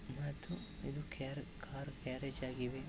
ಮತ್ತು ಇದು car garage ಆಗಿದೆ.